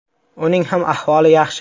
Uning ham ahvoli yaxshi.